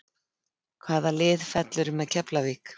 Hvaða lið fellur með Keflavík?